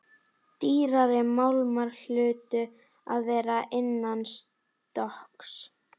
Dýrari málmar hlutu að vera innanstokks.